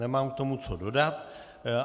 Nemám k tomu co dodat.